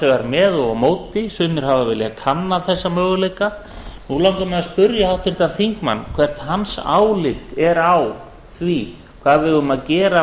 vegar með eða á móti sumir hafa viljað kanna þessa möguleika nú langar mig að spyrja háttvirtan þingmann hvert hans álit er á því hvað við eigum að gera